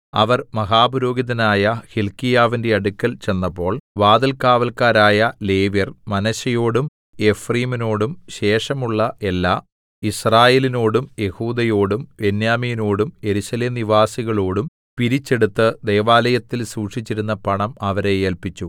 അവർ മഹാപുരോഹിതനായ ഹില്ക്കീയാവിന്റെ അടുക്കൽ ചെന്നപ്പോൾ വാതിൽകാവല്ക്കാരായ ലേവ്യർ മനശ്ശെയോടും എഫ്രയീമിനോടും ശേഷമുള്ള എല്ലാ യിസ്രായേലിനോടും യെഹൂദയോടും ബെന്യാമീനോടും യെരൂശലേം നിവാസികളോടും പിരിച്ചെടുത്ത് ദൈവാലയത്തിൽ സൂക്ഷിച്ചിരുന്ന പണം അവരെ ഏല്പിച്ചു